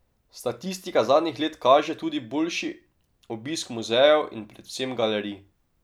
Statistika zadnjih let kaže tudi boljši obisk muzejev in predvsem galerij.